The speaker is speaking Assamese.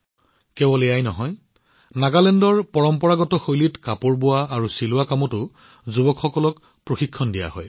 কেৱল এয়াই নহয় যুৱসকলক পৰম্পৰাগত নাগালেণ্ড শৈলীৰ পোছাক নিৰ্মাণ দৰ্জী আৰু বয়নৰ প্ৰশিক্ষণ দিয়া হয়